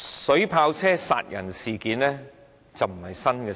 水炮車殺人，並非新鮮事。